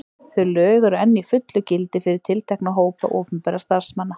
Þau lög eru enn í fullu gildi fyrir tiltekna hópa opinberra starfsmanna.